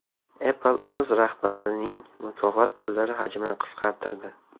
Apple o‘z rahbarlarining mukofot pullari hajmini qisqartirdi.